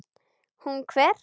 Hún hver?